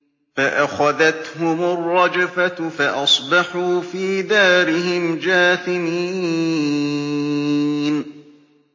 فَأَخَذَتْهُمُ الرَّجْفَةُ فَأَصْبَحُوا فِي دَارِهِمْ جَاثِمِينَ